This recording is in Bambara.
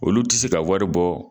Olu tɛ se ka wari bɔ